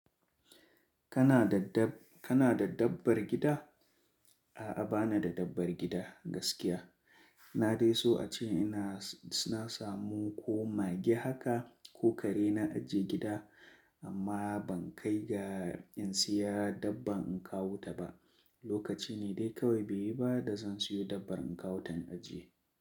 Kana da dabb- kana da dabbar gida? A'a, ba na da dabbar gida gaskiya. Na dai so a ce ina s-na samu ko mage haka, ko kare na ajiye gida. Amma ban kai ga in siya dabba in kawo ta ba. Lokaci ne dai kawai, bai yi ba da zan siyo dabbar in kawo ta in ajiye.